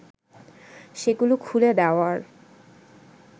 সেগুলো খুলে দেওয়ার